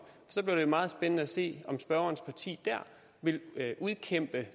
så bliver det meget spændende at se om spørgerens parti dér vil kæmpe